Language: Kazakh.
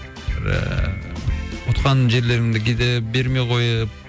ііі ұтқан жерлеріңді кейде бермей қойып